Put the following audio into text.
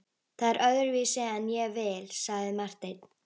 Það er öðruvísi en ég vil, sagði Marteinn.